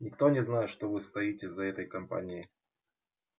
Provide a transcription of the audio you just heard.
никто не знает что вы стоите за этой компанией